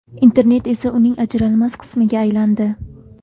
Internet esa uning ajralmas qismiga aylandi.